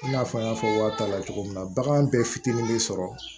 I n'a fɔ n y'a fɔ waa ta la cogo min na bagan bɛɛ fitinin bɛ sɔrɔ